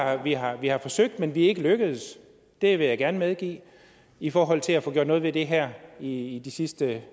at vi har vi har forsøgt men vi er ikke lykkedes det vil jeg gerne medgive i forhold til at få gjort noget ved det her i i de sidste